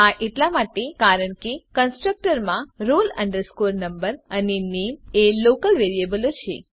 આ એટલા માટે કારણ કે કન્સ્ટ્રકટર માં roll number અને નામે એ લોકલ વેરીએબલો છે